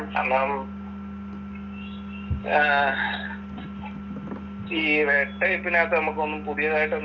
കാരണം ആഹ് ഈ റെഡ് ടൈപ്പിനകത്ത് നമ്മക്കൊന്നും പുതിയതായിട്ട് ഒന്നും